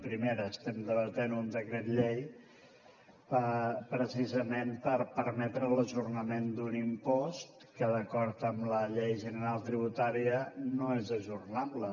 primera estem debatent un decret llei precisament per permetre l’ajornament d’un impost que d’acord amb la llei general tributària no és ajornable